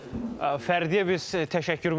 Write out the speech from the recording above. Fərdiyə biz təşəkkürümüzü bildiririk.